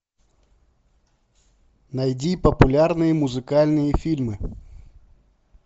найди популярные музыкальные фильмы